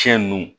Fiɲɛ nunnu